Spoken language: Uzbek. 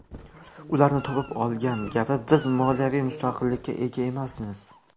Ularni topib olgan gapi, ‘biz moliyaviy mustaqillikka ega emasmiz’.